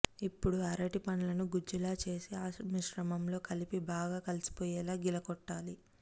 ఇప్పుడు అరటి పండ్లను గుజ్జులా చేసి ఆ మిశ్రమంలో కలిపి బాగా కలిసిపోయేలా గిలక్కొట్టాలి